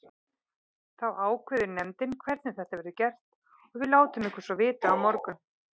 Þá ákveður nefndin hvernig þetta verður gert og við látum ykkur svo vita á morgun.